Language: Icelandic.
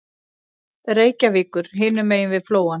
Reykjavíkur hinum megin við Flóann.